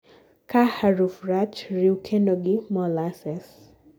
kaa haruf rach, riw kendo gi molasses